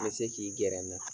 Me se k'i gɛrɛ na